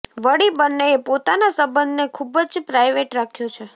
વળી બંનેએ પોતાના સંબંધને ખૂબ જ પ્રાઇવેટ રાખ્યો છે